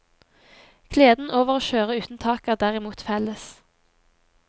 Gleden over å kjøre uten tak er derimot felles.